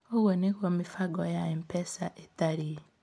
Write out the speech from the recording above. Ũũ nĩguo mĩbango ya M-Pesa ĩtariĩ: